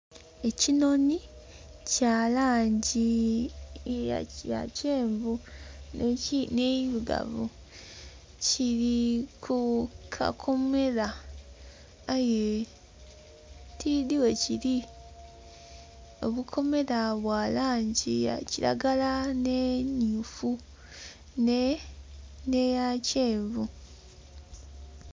Ekinonhi kya langi ya kyenvu me ndhirugavu kiri ku kakomera aye tidhi ghe kiri omukomera bwa langi ya kilagala ne myufu ne ya kyenvu.